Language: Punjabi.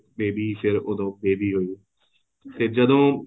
baby ਫ਼ੇਰ ਉਦੋਂ baby ਹੋਈ ਫ਼ੇਰ ਜਦੋਂ